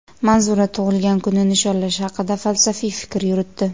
Manzura tug‘ilgan kunni nishonlash haqida falsafiy fikr yuritdi.